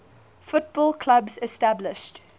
football clubs established